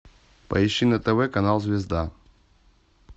поищи на тв канал звезда